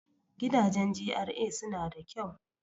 Gidajen GRA suna da kyau.